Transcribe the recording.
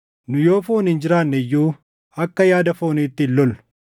Nu yoo fooniin jiraanne iyyuu akka yaada fooniitti hin lollu.